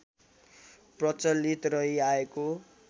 प्रचलित रहि आएको